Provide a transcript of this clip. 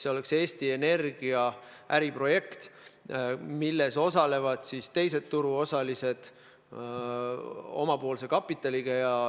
See oleks Eesti Energia äriprojekt, milles osalevad teised turuosalised oma kapitaliga.